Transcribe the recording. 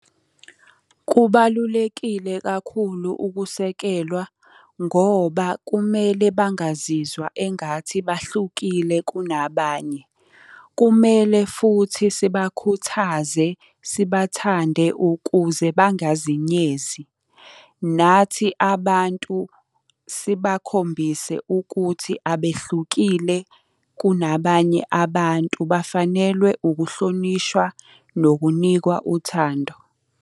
Kubalulekile kakhulu ukusekelwa, ngoba kumele bangazizwa engathi bahlukile kunabanye. Kumele futhi sibakhuthaze, sibathande ukuze bangazinyezi. Nathi abantu sibakhombise ukuthi abehlukile kunabanye abantu bafanelwe ukuhlonishwa, nokunikwa uthando.